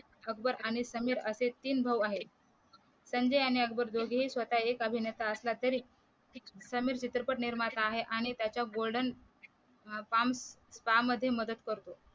अकबर आणि समीर असे तीन भाऊ आहेत संजय आणि अकबर दोघेही स्वतः एक अभिनेता असला तरी समीर चित्रपट निर्माता आहे आणि त्याच्या गोल्डन फॉर्म फॉर्म मध्ये मदत करतो